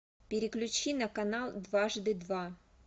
переключи на канал дважды два